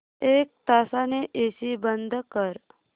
एक तासाने एसी बंद कर